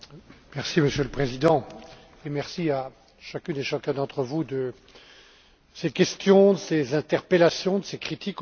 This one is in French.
Monsieur le Président, merci à chacune et chacun d'entre vous de ses questions, de ses interpellations, de ses critiques, aussi.